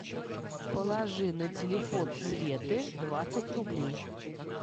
положи на телефон светы двадцать рублей